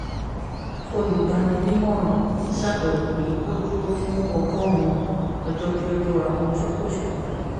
olùgbani-nímọ̀ràn ṣàbẹwò pé kó dúró fún ọgọ́rùn-ún ọjọ́ kí ó tó rà ohun tí kò ṣe pàtàkì